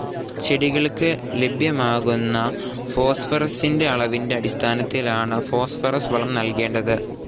ചെടികൾക്ക് ലഭ്യമാകുന്ന ഫോസ്ഫറസിന്റെ അളവിന്റെ അടിസ്ഥാനത്തിലാണ് ഫോസ്ഫറസ്‌ വളം നൽകേണ്ടത്.